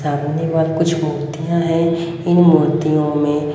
सामनेवाल कुछ मूर्तियां हैं इन मूर्तियों में--